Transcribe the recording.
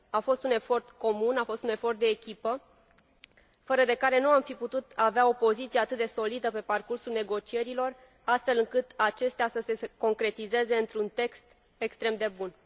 A fost un efort comun, a fost un efort de echipă, fără de care nu am fi putut avea o poziție atât de solidă pe parcursul negocierilor, astfel încât acestea să se concretizeze într un text extrem de bun.